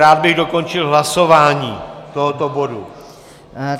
Rád bych dokončil hlasování tohoto bodu.